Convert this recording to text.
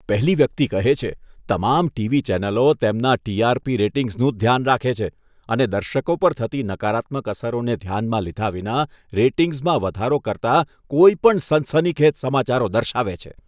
પહેલી વ્યક્તિ કહે છે, તમામ ટીવી ચેનલો તેમના ટી.આર.પી. રેટિંગ્સનું જ ધ્યાન રાખે છે અને દર્શકો પર થતી નકારાત્મક અસરોને ધ્યાનમાં લીધા વિના રેટિંગ્સમાં વધારો કરતા કોઈપણ સનસનીખેજ સમાચારો દર્શાવે છે.